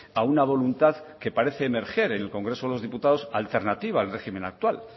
a una voluntad que parece emerger en el congreso de los diputados alternativa al régimen actual